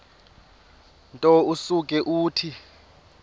nto usuke uthi